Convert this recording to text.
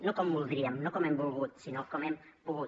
no com voldríem no com hem volgut sinó com hem pogut